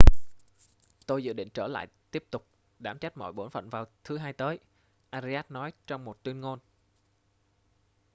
tôi dự định trở lại tiếp tục đảm trách mọi bổn phận vào thứ hai tới arias nói trong một tuyên ngôn